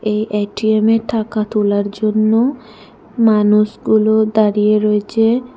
এই এটিএমে টাকা তোলার জন্য মানুষগুলো দাঁড়িয়ে রয়েছে।